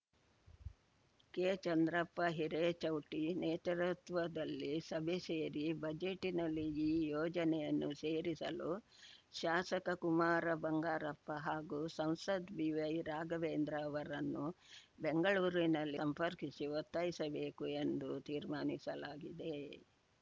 ಕೆಚಂದ್ರಪ್ಪ ಹಿರೇಚೌಟಿ ನೇತೃತ್ವದಲ್ಲಿ ಸಭೆ ಸೇರಿ ಬಜೆಟ್ಟಿನಲ್ಲಿ ಈ ಯೋಜನೆಯನ್ನು ಸೇರಿಸಲು ಶಾಸಕ ಕುಮಾರ ಬಂಗಾರಪ್ಪ ಹಾಗೂ ಸಂಸದ್ ಬಿವೈ ರಾಘವೇಂದ್ರ ಅವರನ್ನು ಬೆಂಗಳೂರಿನಲ್ಲಿ ಸಂಪರ್ಕಿಸಿ ಒತ್ತಾಯಿಸಬೇಕು ಎಂದು ತೀರ್ಮಾನಿಸಲಾಗಿದೆ